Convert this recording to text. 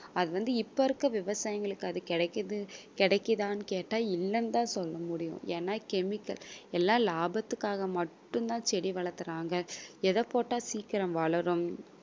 அது வந்து இப்ப இருக்க விவசாயிங்களுக்கு அது கிடைக்குது கிடைக்குதான்னு கேட்டால், இல்லன்னு தான் சொல்ல முடியும். ஏன்னா chemical எல்லாம் லாபத்துக்காக மட்டும்தான் செடி வளத்துறாங்க. எத போட்டா சீக்கிரம் வளரும்